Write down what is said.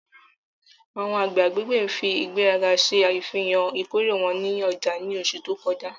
Awọn agbẹ agbegbe fi igberaga ṣe afihan ikore wọn ninu ọja ni oṣu to kọja